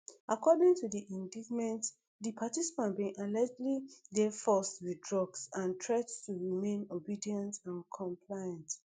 according to di indictment di participant bin allegedly dey forced wit drugs and threat to remain obedient and compliant